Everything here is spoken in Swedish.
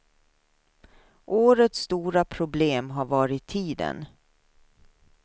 Årets stora problem har varit tiden.